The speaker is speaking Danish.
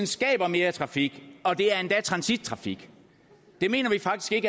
skaber mere trafik og det er endda transittrafik det mener vi faktisk